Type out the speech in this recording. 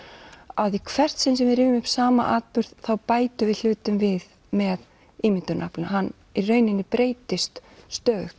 að í hvert sinn sem við rifjum upp sama atburð þá bætum við hlutum við með ímyndunaraflinu hann í rauninni breytist stöðugt